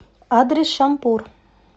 адрес шампур